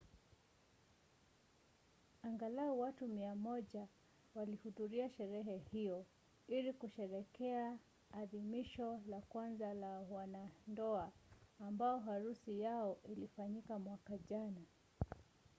angalau watu 100 walihudhuria sherehe hiyo ili kusherehekea adhimisho la kwanza la wanandoa ambao harusi yao ilifanyika mwaka jana